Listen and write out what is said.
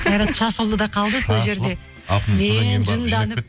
қайрат шашылды да қалды сол жерде мен жынданып